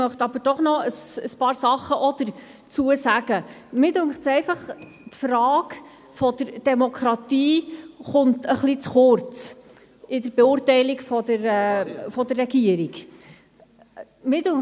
Ich möchte jedoch trotzdem noch ein paar Dinge dazu sagen: Mir scheint es, dass die Frage der Demokratie in der Beurteilung der Regierung etwas zu kurz kommt.